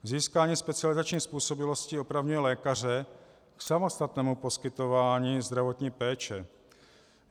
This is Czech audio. Získání specializační způsobilosti opravňuje lékaře k samostatnému poskytování zdravotní péče.